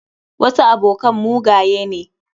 Wasu abokan mugaye ne.